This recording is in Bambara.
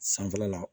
Sanfɛla la